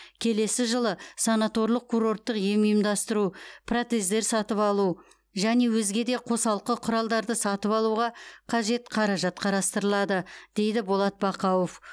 келесі жылы санаторлық курорттық ем ұйымдастыру протездер сатып алу және өзге де қосалқы құралдарды сатып алуға қажет қаражат қарастырылады дейді болат бақауов